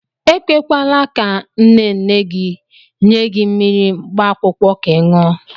E kwekwala ka nne nne gị nye gị mmiri mkpaakwụkwọ ka ị ṅụọ.